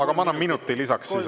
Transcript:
Ma annan minuti lisaks.